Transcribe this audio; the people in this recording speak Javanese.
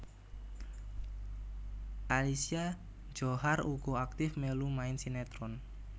Alicia Djohar uga aktif mèlu main sinetron